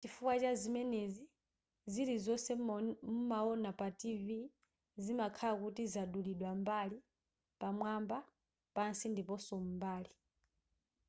chifukwa chazimenezi zilizonse mumaona pa tv zimakhala kuti zadulidwa mbali pamwamba pansi ndiponso m'mbali